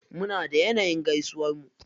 Muna da yanayin gaisuwar mu.